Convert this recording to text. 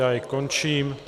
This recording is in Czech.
Já jej končím.